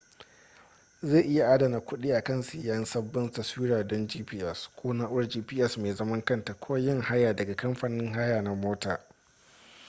zai iya adana kuɗi akan siyan sabbin taswira don gps ko na'urar gps mai zaman kanta ko yin haya daga kamfanin haya na mota